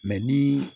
ni